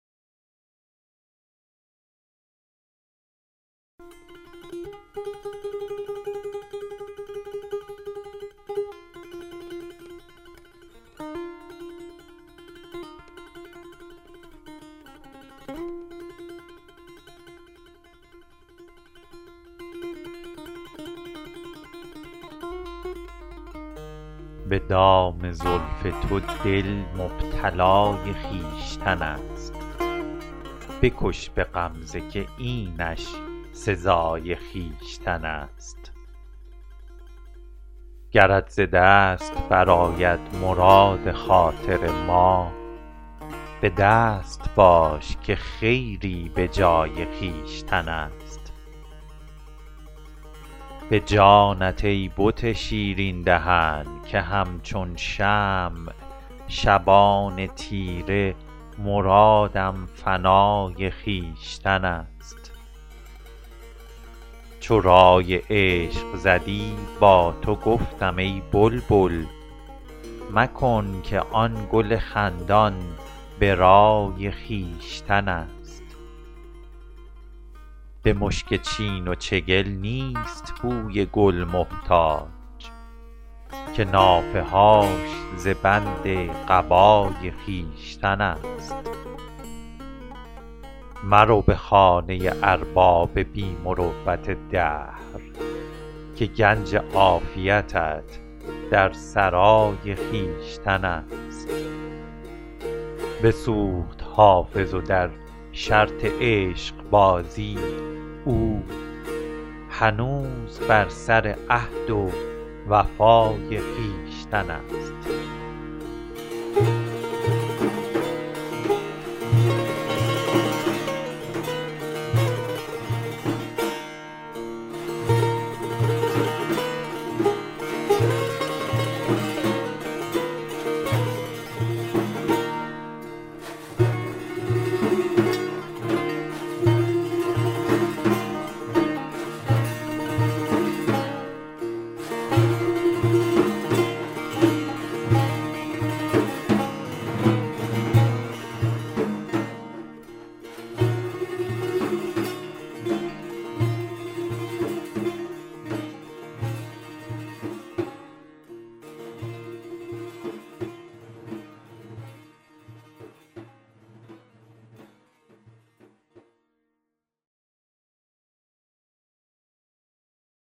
به دام زلف تو دل مبتلای خویشتن است بکش به غمزه که اینش سزای خویشتن است گرت ز دست برآید مراد خاطر ما به دست باش که خیری به جای خویشتن است به جانت ای بت شیرین دهن که همچون شمع شبان تیره مرادم فنای خویشتن است چو رای عشق زدی با تو گفتم ای بلبل مکن که آن گل خندان به رای خویشتن است به مشک چین و چگل نیست بوی گل محتاج که نافه هاش ز بند قبای خویشتن است مرو به خانه ارباب بی مروت دهر که گنج عافیتت در سرای خویشتن است بسوخت حافظ و در شرط عشقبازی او هنوز بر سر عهد و وفای خویشتن است